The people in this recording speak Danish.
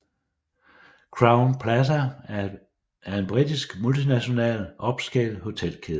Crowne Plaza er en britisk multinational upscale hotelkæde